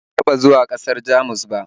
Ban taɓa zuwa ƙasar Jamus ba